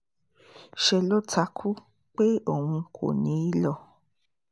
ṣe ló takú pé òun kò ní í lọ